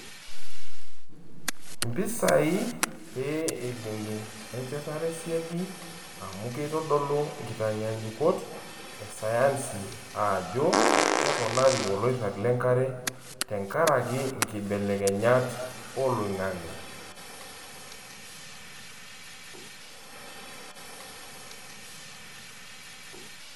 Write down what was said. Mpisai pee eibungi enchetare siadi amu keitodolu nkitanyaanyukot e sayansi ajo keponari oloirag lenkare tenkaraki nkibelekenyat oloingange.